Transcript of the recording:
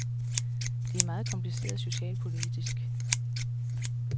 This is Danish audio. Det er meget kompliceret socialpolitisk.